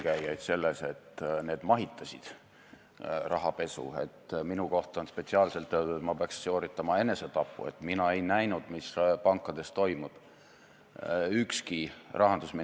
Vastupidi, see peab olema selgitav töö, mitte süüdistav töö, nagu populistid on harjunud: süüdi on kogu aeg keegi teine – kas siis kapitalist, eelkäijad või halb ilm.